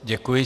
Děkuji.